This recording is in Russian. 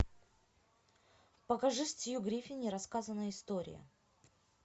покажи стьюи гриффин нерассказанная история